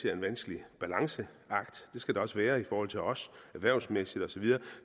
er en vanskelig balanceakt det skal det også være i forhold til os erhvervsmæssigt og så videre